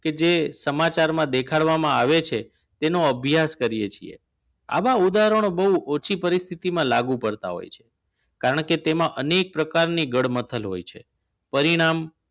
કે જે સમાચારમાં દેખાડવામાં આવે છે તેનો અભ્યાસ કરીએ છીએ આવા ઉદાહરણો બહુ ઓછી પરિસ્થિતિમાં લાગુ પડતા હોય છે કારણ કે તેમાં અનેક પ્રકારની ગળમથલ હોય છે પરિણામ